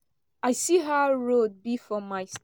i see how road be for my